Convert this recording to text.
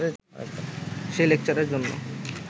সেই লেকচারের জন্য